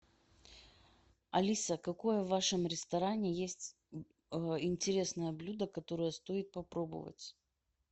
алиса какое в вашем ресторане есть интересное блюдо которое стоит попробовать